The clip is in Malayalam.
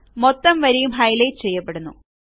മൊത്തം വരിയും ഹൈലൈറ്റ് ചെയ്യപ്പെടുന്നു